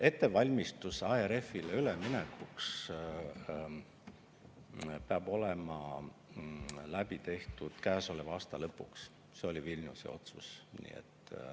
Ettevalmistus ARF-ile üleminekuks peab olema tehtud käesoleva aasta lõpuks, see oli Vilniuse otsus.